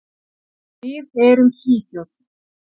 Við erum Svíþjóð.